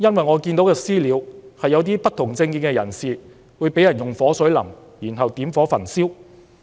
我看到的"私了"，是一些不同政見人士被人淋火水後點火焚燒。